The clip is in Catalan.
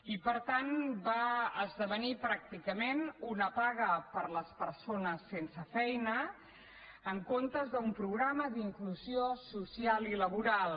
i per tant va esdevenir pràcticament una paga per a les persones sense feina en comptes d’un programa d’inclusió social i laboral